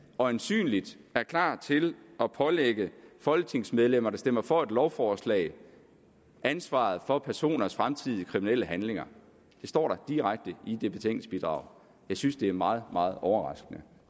øjensynligt er klar til at pålægge folketingsmedlemmer der stemmer for et lovforslag ansvaret for personers fremtidige kriminelle handlinger det står der direkte i det betænkningsbidrag jeg synes det er meget meget overraskende